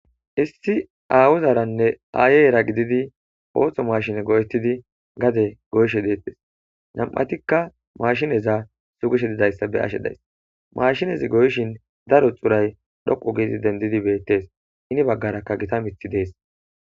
Issi awuzaranne aayeera gididi ooththo mashine go'ettidi gade goyshe deettes nam'atikka maashineza sugishe didayssa be ashe days maashinezi goyshin daro xuray dhoqu giidi dendidi beettes ini baggarakka gita mithi dees.